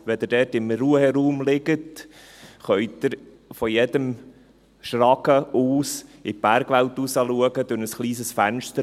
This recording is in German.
Wenn Sie dort in einem Ruheraum liegen, können Sie sich von jedem Schragen aus durch ein kleines Fensterchen in die Bergwelt hinausschauen.